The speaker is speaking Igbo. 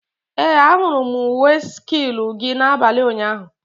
Ee, ahụrụ m uwe silku gị n'abalị ụnyaahụ.